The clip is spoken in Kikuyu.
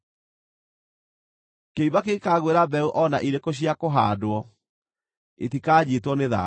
Kĩimba kĩngĩkaagwĩra mbeũ o na irĩkũ cia kũhaandwo, itikanyiitwo nĩ thaahu.